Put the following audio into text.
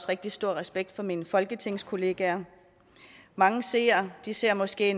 rigtig stor respekt for mine folketingskollegaer mange seere ser måske